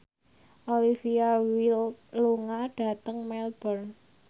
Olivia Wilde lunga dhateng Melbourne